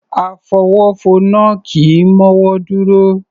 Afọwọ́fọnná kì í mọ́wọ́ dúró